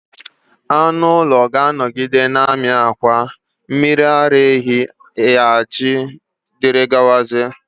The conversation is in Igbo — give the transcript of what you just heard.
Anụ ụlọ ga-anọgide na-amị akwa, mmiri ara ehi, ajị wdg